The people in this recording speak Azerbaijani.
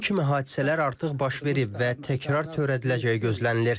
Bu kimi hadisələr artıq baş verib və təkrar törədiləcəyi gözlənilir.